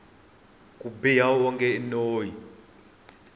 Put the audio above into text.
ku biha wonge i noyi